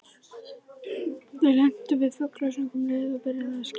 Þau lentu við fuglasöng um leið og byrjaði að skíma.